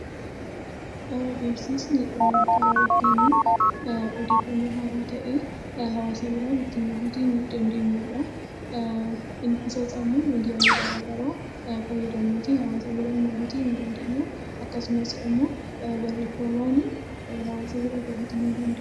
Beeksisni karaa ittiin odeeffannoo haaraa ta'e hawaasa biraan ittiin gahuuti dandeenyudha. Ibsasaammoo miidiyaalee garagaraa fayyadamuuni hawaasa biraan gahuutii ni dandeenya. Akkasumasimmoo barreefamaanii hawaasa bira gahuutii ni danda'a.